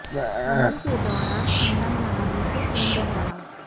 حمل کے دوران اندام نہانی سے خون بہہ رہا